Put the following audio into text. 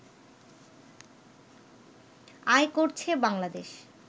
আয় করছে বাংলাদেশ